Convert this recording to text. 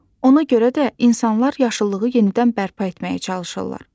Ona görə də insanlar yaşıllığı yenidən bərpa etməyə çalışırlar.